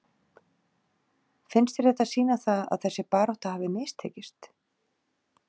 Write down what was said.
Finnst þér þetta sýna það að þessi barátta hafi mistekist?